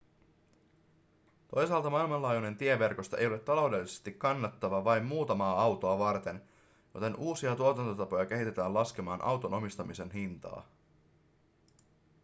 toisaalta maanlaajuinen tieverkosto ei ole taloudellisesti kannattava vain muutamaa autoa varten joten uusia tuotantotapoja kehitetään laskemaan auton omistamisen hintaa